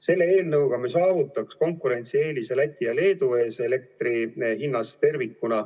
Selle eelnõuga me saavutaks elektrihinna konkurentsieelise Läti ja Leedu ees.